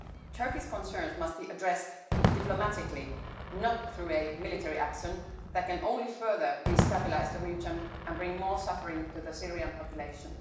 Turkey's concerns must be addressed diplomatically, not through military action that can only further destabilise the region and bring more suffering to the Syrian population.